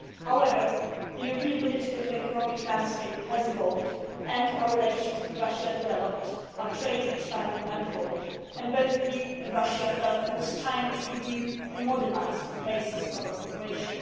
However the European political and economic landscape has evolved and our relations with Russia developed, our trade expanded and both we and Russia felt that it was time to review and modernise the basis of our cooperation.